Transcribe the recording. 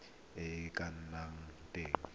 e e ka nnang teng